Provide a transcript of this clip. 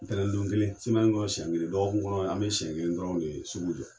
Ntɛnɛn don kelen kɔrɔ siyɛn kelen lɔgɔkun kɔnɔ an bɛ siyɛn kelen dɔrɔnw de ye sugu jɔ.